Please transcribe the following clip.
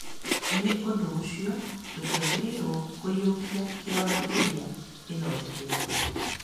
Nĩ ũndũ ũcio, tũtiagĩrĩirũo kũiyũkia kĩronda kĩrĩa gĩthondeketwo.